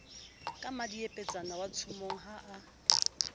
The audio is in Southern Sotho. ka mmadiepetsana watshomong ha a